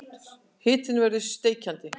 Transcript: Hitinn verður steikjandi.